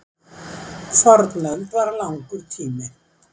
fornöld var langur tími